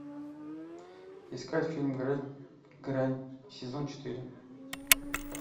искать фильм грань сезон четыре